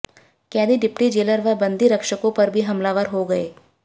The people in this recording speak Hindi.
कैदी डिप्टी जेलर व बन्दी रक्षकों पर भी हमलावर हो गए